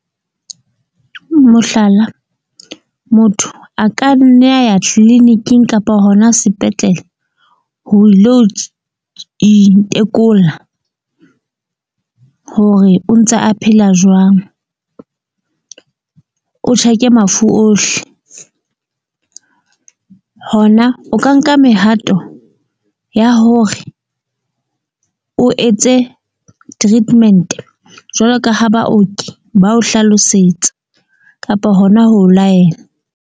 Mohlala, motho a ka nne a ya clinic-ing kapa hona sepetlele, ho ilo itekola hore o ntse a phela jwang, o check-e mafu ohle. Hona o ka nka mehato ya hore o etse treatment-e jwalo ka ha baoki ba o hlalosetsa kapa hona ho laela.